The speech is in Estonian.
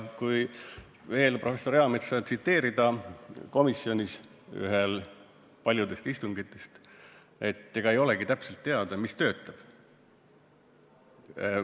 Kui veel professor Eametsa tsiteerida, seda, mida ta ütles ühel paljudest komisjoni istungitest, siis ega ei olegi täpselt teada, mis töötab.